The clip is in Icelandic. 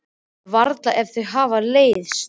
Nei, varla ef þau hafa leiðst.